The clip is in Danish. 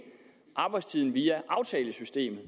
arbejdstiden via aftalesystemet